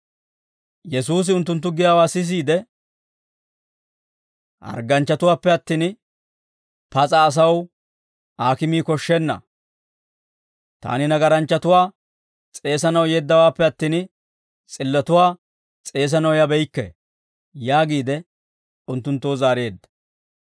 Yesuusi unttunttu giyaawaa sisiide, «Hargganchchatuwaappe attin, pas'a asaw aakimii koshshenna; taani nagaranchchatuwaa s'eesanaw yeeddawaappe attin, s'illatuwaa s'eesanaw yabeykke» yaagiide unttunttoo zaareedda.